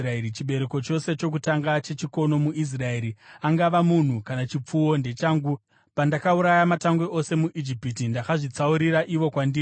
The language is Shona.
Chibereko chose chokutanga chechikono muIsraeri, angava munhu kana chipfuwo, ndechangu. Pandakauraya matangwe ose muIjipiti, ndakazvitsaurira ivo kwandiri.